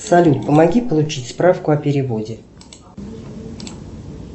салют помоги получить справку о переводе